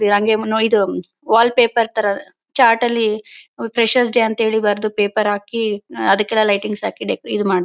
Wall paper ತರ chart ಲ್ಲಿ freshers day ಅಂತ ಬರೆದು ಪೇಪರ್ ಹಾಕಿ ಅದ್ಕೆಲ್ಲ ಲೈಟಿಂಗ್ಸ್ ಹಾಕಿ ಡೆಕ ಇದ್ ಮಾಡ್ತಾರೆ .